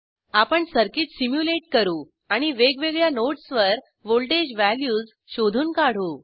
आपण circuit simulate करू आणि वेगवेगळ्या नोड्सवर व्हॉल्टेज वॅल्यूज शोधून काढू